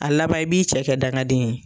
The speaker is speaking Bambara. A laban i b'i cɛ kɛ dangaden ye.